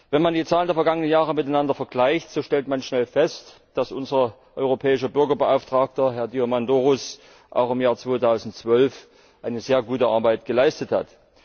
Wenn man die Zahlen der vergangenen Jahre miteinander vergleicht, so stellt man schnell fest, dass unser Europäischer Bürgerbeauftragter, Herr Diamandouros, auch im Jahr 2012 sehr gute Arbeit geleistet hat.